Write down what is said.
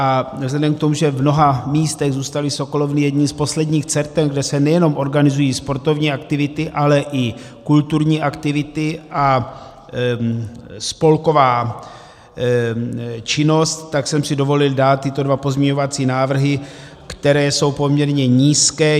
A vzhledem k tomu, že v mnoha místech zůstaly sokolovny jedním z posledních center, kde se nejenom organizují sportovní aktivity, ale i kulturní aktivity a spolková činnost, tak jsem si dovolil dát tyto dva pozměňovací návrhy, které jsou poměrně nízké.